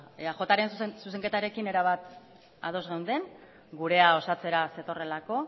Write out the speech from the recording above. eajren zuzenketarekin erabat ados geunden gurea osatzera zetorrelako